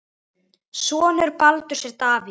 Sonur Baldurs er Davíð.